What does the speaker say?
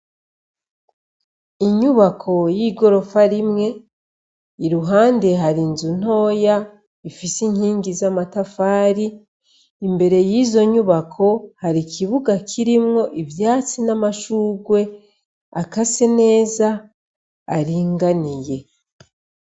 Inyubako y'igorofa rimwe, iruhande hari inzu ntoya ifise inkingi z'amatafari, imbere y'izo nyubako hari ikibuga kirimwo ivyatsi n'amashurwe akase neza aringaniye.